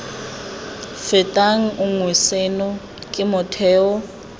fetang nngwe seno ke motheo